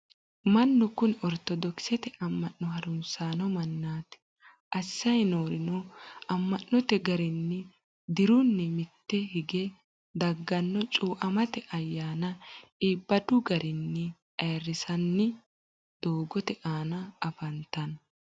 mannu kuni ortodoxete ama'no harunsanno mannati. assayi noorino ama'note garinni dirunni mitte higge dagganno cuuamate ayyana iibadu garinni ayirisanni doogote aana afantano.